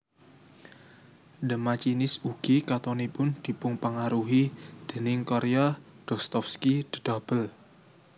The Machinist ugi katonipun dipunpangaruhi déning karya Dostovsky The Double